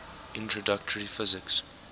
introductory physics